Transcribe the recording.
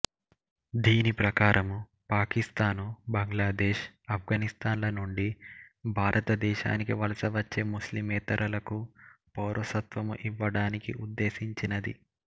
దీనిప్రకారము పాకిస్తాను బాంగ్లాదేశ్ ఆఫ్గనిస్థాన్ ల నుండి భారత దేశానికి వలస వచ్చే ముస్లిమేతరలకు పౌరసత్వము ఇవ్వడానికి ఉద్దేసించినది